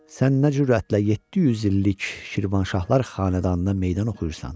Sən nə cürətlə 700 illik Şirvanşahlar xanədanına meydan oxuyursan?